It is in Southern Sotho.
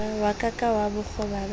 wa ka ka bokgoba ba